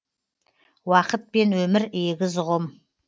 уақыт пен өмір егіз ұғым